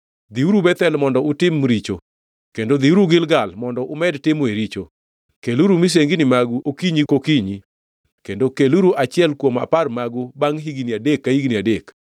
“Dhiuru Bethel mondo utim richo; kendo dhiuru Gilgal mondo umed timoe richo. Keluru misengini magu okinyi kokinyi kendo keluru achiel kuom apar magu bangʼ higni adek ka higni adek.